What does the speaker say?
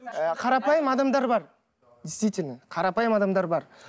ы қарапайым адамдар бар действительно қарапайым адамдар бар